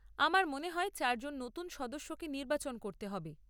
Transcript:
আমার মনে হয় চারজন নতুন সদস্যকে নির্বাচন করতে হবে।